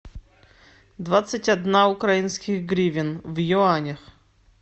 двадцать одна украинских гривен в юанях